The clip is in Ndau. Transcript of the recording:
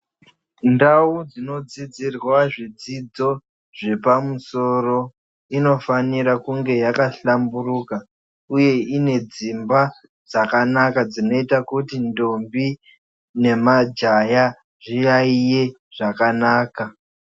Ndau dzinodzidzirwa zvidzidzo zvepamusoro inofanire kunge yakahlamburuka uye inedzimba dzakanaka dzinoita kuti ndombi nemajaya zviyaiye zvakanaka.